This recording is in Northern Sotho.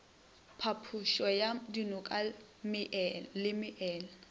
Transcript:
phapošo ya dinoka le meela